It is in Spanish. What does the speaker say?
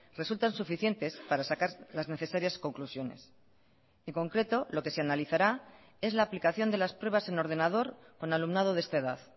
resultan suficientes para sacar las necesarias conclusiones en concreto lo que se analizará es la aplicación de las pruebas en ordenador con alumnado de esta edad